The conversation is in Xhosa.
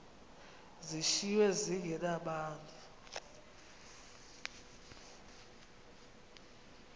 zishiywe zinge nabani